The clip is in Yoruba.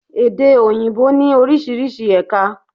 Èdè òyìnbó ní orísirísi ẹ̀ka